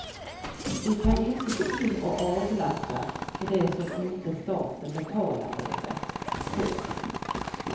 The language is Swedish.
Vi kan inte gå in och avlasta för det som inte staten betalar längre. punkt